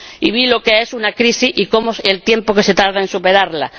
Y vi lo que es una crisis y el tiempo que se tarda en superarla.